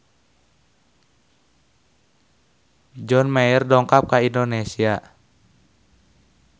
John Mayer dongkap ka Indonesia